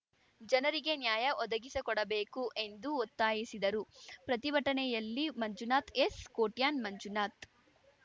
ಜನರಿಗೆ ನ್ಯಾಯ ಒದಗಿಸಿಕೊಡಬೇಕು ಎಂದು ಒತ್ತಾಯಿಸಿದರು ಪ್ರತಿಭಟನೆಯಲ್ಲಿ ಮಂಜುನಾಥ್‌ ಎಸ್‌ಕೊಟ್ಯಾನ್‌ ಮಂಜುನಾಥ್‌